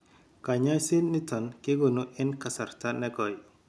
Kanyasiet niton kegonu en kasrta negoi